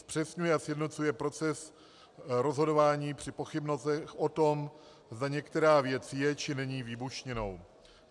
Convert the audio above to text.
Zpřesňuje a sjednocuje proces rozhodování při pochybnostech o tom, zda některá věc je, či není výbušninou.